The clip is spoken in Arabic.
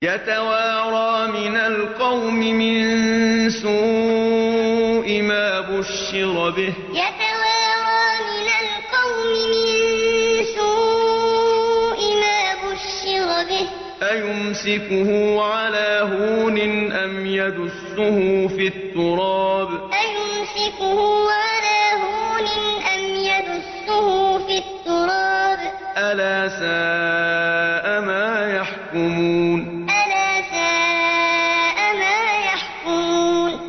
يَتَوَارَىٰ مِنَ الْقَوْمِ مِن سُوءِ مَا بُشِّرَ بِهِ ۚ أَيُمْسِكُهُ عَلَىٰ هُونٍ أَمْ يَدُسُّهُ فِي التُّرَابِ ۗ أَلَا سَاءَ مَا يَحْكُمُونَ يَتَوَارَىٰ مِنَ الْقَوْمِ مِن سُوءِ مَا بُشِّرَ بِهِ ۚ أَيُمْسِكُهُ عَلَىٰ هُونٍ أَمْ يَدُسُّهُ فِي التُّرَابِ ۗ أَلَا سَاءَ مَا يَحْكُمُونَ